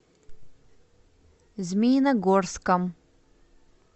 змеиногорском